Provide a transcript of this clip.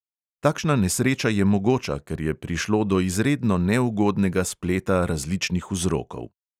Takšna nesreča je mogoča, ker je prišlo do izredno neugodnega spleta različnih vzrokov.